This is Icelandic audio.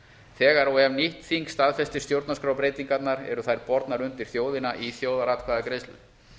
þegar og ef nýtt þing staðfestir stjórnarskrárbreytingarnar eru þær bornar undir þjóðina í þjóðaratkvæðagreiðslu